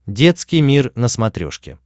детский мир на смотрешке